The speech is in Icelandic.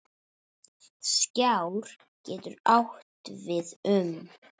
Skjár getur átt við um